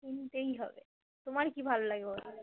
কিনতেই হবে । তোমার কি ভালো লাগে বলো?